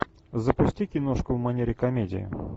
запусти киношку в манере комедия